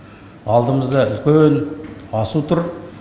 алдымызда үлкен асу тұр